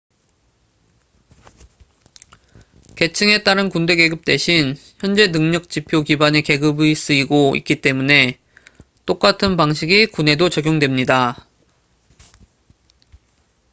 계층에 따른 군대 계급 대신 현재 능력 지표 기반의 계급이 쓰이고 있기 때문에 똑같은 방식이 군에도 적용됩니다